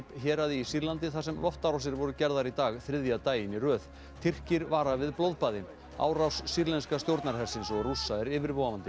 héraði í Sýrlandi þar sem loftárásir voru gerðar í dag þriðja daginn í röð Tyrkir vara við blóðbaði árás sýrlenska stjórnarhersins og Rússa er yfirvofandi